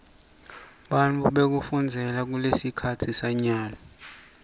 bumgkwa bekufunzela kulesikhatsi sanyalo